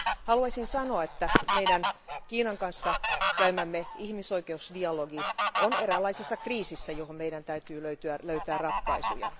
Haluaisin sanoa, että meidän Kiinan kanssa käymämme ihmisoikeusdialogi on eräänlaisessa kriisissä, johon meidän täytyy löytää ratkaisuja.